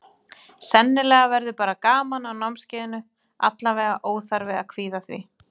Sennilega verður bara gaman á námskeiðinu, allavega óþarfi að kvíða því.